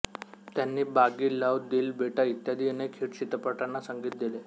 त्यांनी बागी लव्ह दिल बेटा इत्यादी अनेक हिट चित्रपटांना संगीत दिले